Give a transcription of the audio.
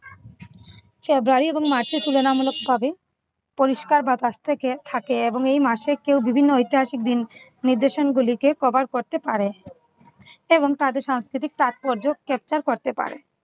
february এবং march এ তুলনামূলকভাবে পরিষ্কার বাতাস থেকে থাকে এবং এই মাসে কেউ বিভিন্ন ঐতিহাসিক দিন নির্দশন গুলিকে cover করতে পারে এবং তাদের সাংস্কৃতিক তাৎপর্য capture করতে পারে।